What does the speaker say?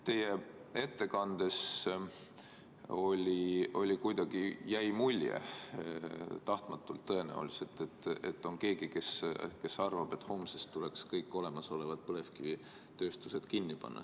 Teie ettekandest kuidagi jäi mulje – tahtmatult tõenäoliselt –, et on keegi, kes arvab, et homsest tuleks kõik olemasolevad põlevkivitööstused kinni panna.